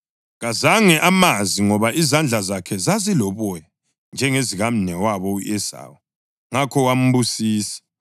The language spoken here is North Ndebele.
Kazange amazi ngoba izandla zakhe zaziloboya njengezikamnewabo u-Esawu; ngakho wambusisa.